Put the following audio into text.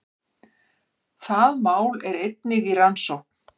Það mál er einnig í rannsókn